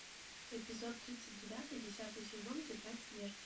эпизод тридцать девятый десятый сезон тетрадь смерти